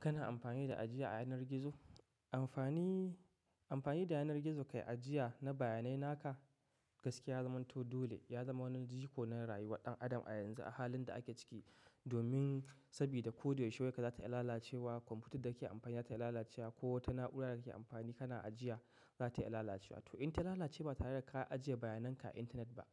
Kana amfani da ajiya a yanar gizo? Amfani, amfani da yanar gizo kai ajiya na bayanai naka gaskiya ya zamanto dole. Ya zama wani jiko na rayuwar ɗan adam a yanzu a halin da ake ciki. Domin sabida ko da yaushe wayarka za ta iya lalacewa. Kwamfutar da ke amfani za ta lalace ko wata na'ura da ke amfani kana ajiya za ta lalace wa. To in ta lalace ba tare da ka ajiye bayanan ka a intanet ba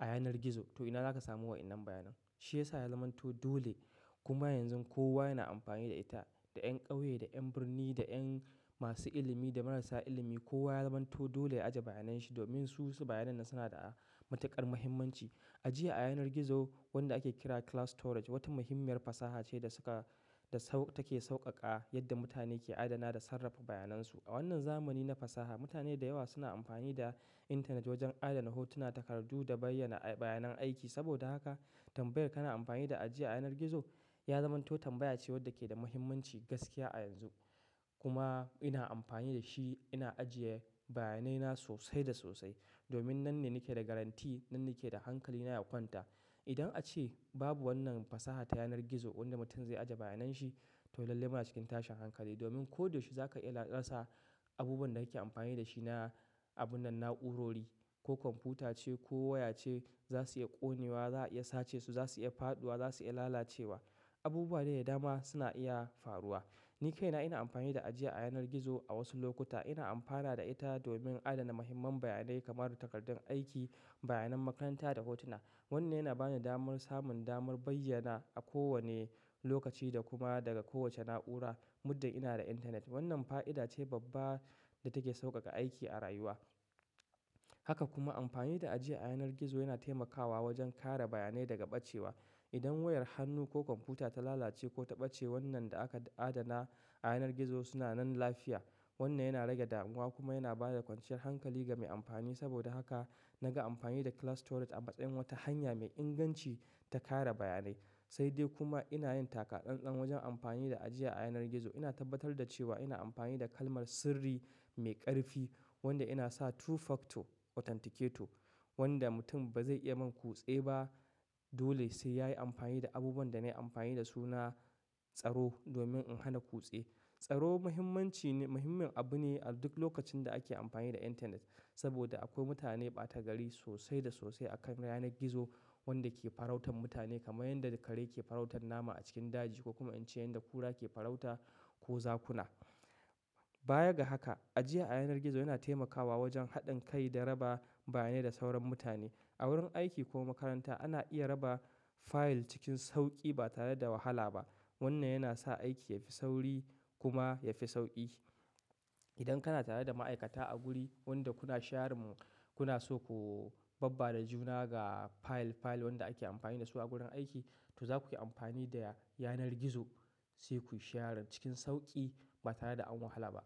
a yanar gizo to ina zaka samu wa wannan bayanan? Shi yasa ya zamanto dole kuma yanzu kowa yana amfani da ita, da ƴan ƙauye, da ƴan birni, da ƴan masu ilimi, da marasa ilimi kowa ya zamanto dole ya ajiye bayanan shi domin su su bayanai na suna da matuƙar muhimmanci. Ajiya a yanar gizo wanda ake kira cloud storage wata muhimmiyar fasaha ce da suka da sau-- take sauƙaƙa yadda mutane ke adana da sarrafa bayanansu. A wannan zamani na fasaha mutane da yawa suna amfani da intanet wajen adana hotuna, takardu da bayyana-- bayanan aiki. Saboda haka tambayar kana amfani da ajiya a yanar gizo ya zamanto tambaya ce wadda ke da muhimmanci gaskiya a yanzu. Kuma ina amfani da shi ina ajiye bayanai na sosai da sosai. Domin nan ne nake da garanti, nan nake da hankali na ya kwanta. Idan ace babu wannan fasaha ta yanar gizo inda mutum zai ajiye bayanan shi, to lalle muna cikin tashin hankali. Domin ko da yaushe zaka iya rasa abubuwan da kake amfani da shi na abun nan na'urori ko kwamfuta ce ko waya ce za su iya ƙonewa, za a iya sace su, za su iya faɗuwa, za su iya lalacewa. Abubuwa dai da dama suna iya faruwa. Ni kaina ina amfani da ajiya a yanar gizo a wasu lokuta. Ina amfana da ita domin adana muhimman bayanai kamar takardun aiki, bayanan makaranta da hotuna. Wannan yana bani damar samun damar bayyana a kowane lokaci da kuma daga kowace na'ura muddin ina da intanet. Wannan fa'ida ce babba da take sauƙaƙa aiki a rayuwa. Haka kuma amfani da ajiya a yanar gizo yana taimakawa wajen kare bayanai daga ɓacewa. Idan wayar hannu ko kwamfuta ta lalace ko ta ɓace wannan da aka adana a yanar gizo suna nan lafiya. Wannan yana rage damuwa kuma yana ba da kwanciyar hankali ga mai amfani. Saboda haka naga amfani da cloud storage a matsayin wata hanya mai inganci ta kare bayanai. Sai dai kuma ina yin takaɗanɗan wajen amfani da ajiya a yanar gizo. Ina tabbatar da cewa ina amfani da kalmar sirri mai ƙarfi wanda ina sa two factor authenticator wanda mutum ba zai iya man kuɗi ba. Dole sai yayi amfani da abubuwan da na yi amfani da su na tsaro domin in hana kutse. Tsaro muhimmanci ne-- muhimmin abu ne a duk lokacin da ake amfani da intanet saboda akwai mutane ɓata gari sosai da sosai a kan yanar gizo wanda ke farautar mutane kamar yadda kare ke farautar nama a cikin daji ko kuma in ce yadda kura ke farauta ko zakuna. Baya ga haka, ajiya a yanar gizo yana taimakawa wajen haɗin kai da raba bayanai da sauran mutane. A wurin aiki ko makaranta ana iya raba fayil cikin sauƙi ba tare da wahala ba. Wannan yana sa aiki yafi sauri kuma yafi sauƙi. Idan kana tare da ma'aikata a guri wanda kuna sharin mu-- kuna so ku babba da juna ga fayil fayil wanda ake amfani da su a gurin aiki, to za ku yi amfani da yanar gizo sai ku shara cikin sauƙi ba tare da an wahala ba.